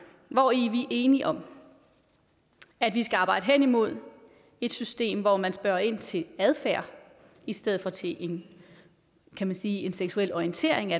hvori vi enige om at vi skal arbejde hen imod et system hvor man spørger ind til adfærd i stedet for til en kan man sige seksuel orientering